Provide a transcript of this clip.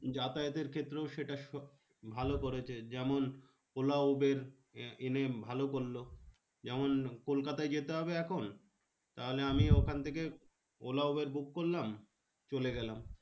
যাতায়াতের ক্ষেত্রেও সেটা ভালো করেছে। যেমন ওলা উবের এনে ভালো করলো। যেমন কলকাতায় যেতে হবে এখন, তাহলে আমি ওখান থেকে ওলা উবের book করলাম, চলে গেলাম।